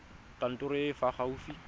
kantorong e e fa gaufi